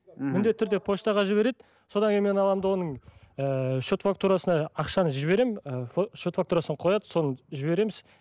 мхм міндетті түрде поштаға жібереді содан кейін мен аламын да оның ыыы счет фактурасына ақшаны жіберемін ы счет фактурасын қояды сон жібереміз